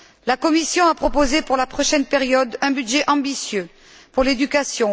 La Commission a proposé pour la prochaine période un budget ambitieux pour l'éducation.